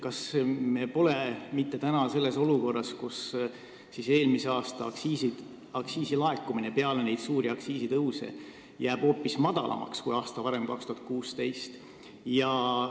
Kas me aga pole nüüd olukorras, et eelmise aasta aktsiisilaekumine peale neid suuri aktsiisitõuse jääb hoopis väiksemaks kui aasta varem, aastal 2016?